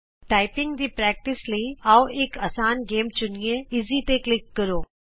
typing ਦੇ ਅਭਿਆਸ ਲਈ ਆਉ ਇਕ ਅਸਾਨ ਗੇਮ ਚੁਣੀਏ ਈਜੀ ਅਸਾਨ ਈਜ਼ੀ ਤੇ ਕਲਿਕ ਕਰੋ